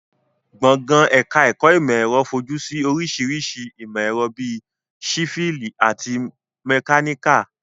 Gbọ̀ngàn ẹ̀ka ẹ̀kọ́ ìmọ̀ ẹ̀rọ fojú sí oríṣiríṣi ìmọ̀ ẹ̀rọ bíi sífíìlì àti mẹkáníkà